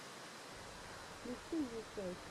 включи мне сяйч